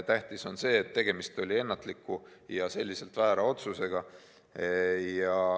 Tähtis on see, et tegemist oli ennatliku ja väära otsusega.